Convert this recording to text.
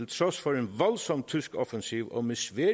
trods for en voldsom tysk offensiv og med svære